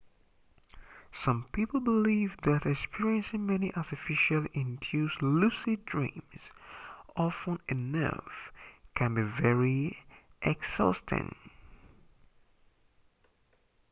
some people believe that experiencing many artificially induced lucid dreams often enough can be very exhausting